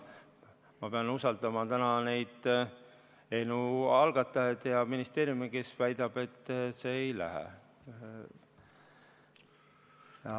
Ma pean usaldama eelnõu algatajaid ja ministeeriumi, kes väidab, et ei lähe.